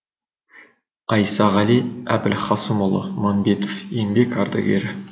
айсағали әбілхасымұлы мұхамбетов еңбек ардагері